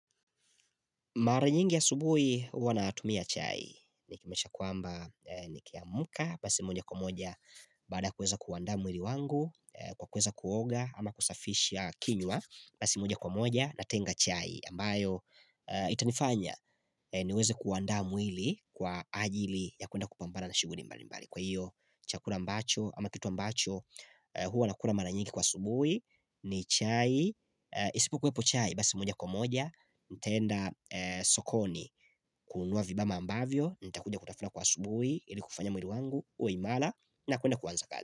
Maranyingi asubuhi huwanaatumia chai, nikimesha kwamba nikiamka, basi moja kwa moja bada kuweza kuwanda mwili wangu, kwa kuweza kuoga ama kusafisha kinywa, basi moja kwa moja natenga chai, ambayo itanifanya niweze kuwanda mwili kwa ajili ya kuenda kupambana na shuguni mbali mbali. Kwa hiyo chakula mbacho ama kitu mbacho huwa nakula maranyngi kwa asubui ni chai isipo kwepo chai basi moja kwa moja nitenda sokoni kunuwa vibama ambavyo nitakuja kutafuna kwa asubui ili kufanya mwili wangu uwe imala na kuenda kuwanza kazi.